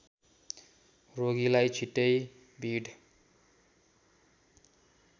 रोगीलाई छिटै भिड